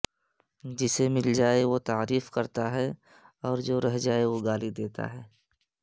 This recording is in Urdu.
جسے مل جائے وہ تعریف کرتا ہے اور جو رہ جائے وہ گالی دیتا ہے